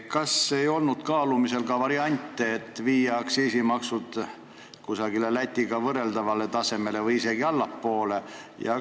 Kas ei olnud kaalumisel variant, et viia aktsiisimaksud Lätiga võrreldavale tasemele või tuua isegi allapoole?